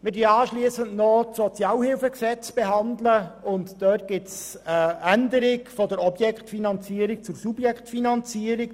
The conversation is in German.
Beim Sozialhilfegesetz (SHG), welches wir noch behandeln werden, gibt es eine Änderung von der Objektfinanzierung hin zur Subjektfinanzierung.